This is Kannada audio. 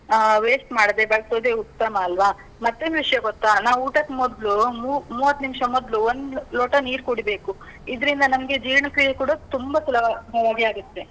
ಅಹ್ waste ಮಾಡದೇ ಬಳ್ಸೋದೇ ಉತ್ತಮ ಅಲ್ವಾ? ಮತ್ತೇನ್ ವಿಷ್ಯ ಗೊತ್ತಾ? ನಾವು ಊಟಕ್ ಮೊದ್ಲು, ಮೂ~ ಮೂವತ್ ನಿಮ್ಷ ಮೊದ್ಲು ಒಂದ್ ಲೋಟ ನೀರ್ ಕುಡಿಬೇಕು. ಇದ್ರಿಂದ ನಮ್ಗೆ ಜೀರ್ಣಕ್ರಿಯೆ ಕೂಡ ತುಂಬ ಸುಲಭವಾಗಿ ಆಗುತ್ತೆ.